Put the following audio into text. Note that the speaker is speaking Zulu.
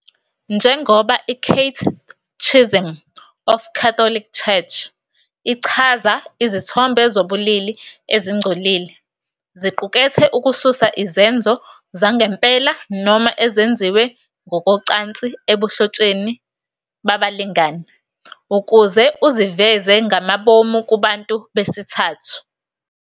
Njengoba "iCatechism of the Catholic Church" ichaza, "Izithombe zobulili ezingcolile" ziqukethe ukususa izenzo zangempela noma ezenziwe ngokocansi ebuhlotsheni babalingani, ukuze uziveze ngamabomu kubantu besithathu.